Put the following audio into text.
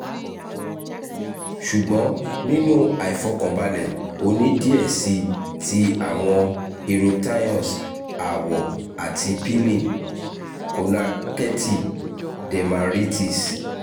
ṣugbọn ninu aifọkanbalẹ o ni diẹ sii ti awọn eruptions awọ ati peeling (kọntaktẹti dermatitis)